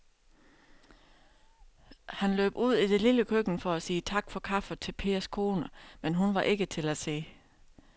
Han løb ud i det lille køkken for at sige tak for kaffe til Pers kone, men hun var ikke til at se.